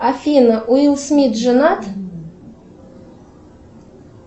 афина уилл смит женат